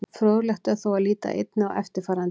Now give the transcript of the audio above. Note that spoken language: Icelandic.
Fróðlegt er þó að líta einnig á eftirfarandi.